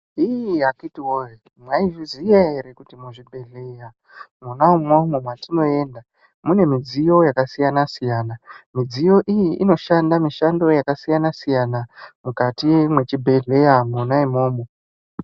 Hiiih akhithi woyee mwaizviziya ere kuti muzvibhedhleya mwona imwomwo mwatinoenda mune midziyo yakasiyana siyana. Midziyo iyi inoshanda mishando yakasiyana siyana mukati mwechibhedhleya mwona imwomwo.